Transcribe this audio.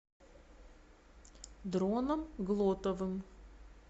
дроном глотовым